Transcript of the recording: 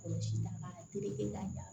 O ji da b'a kan joli la